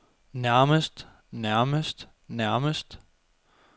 nærmest nærmest nærmest